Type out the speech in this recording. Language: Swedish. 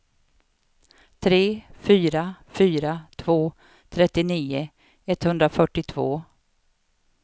tre fyra fyra två trettionio etthundrafyrtiotvå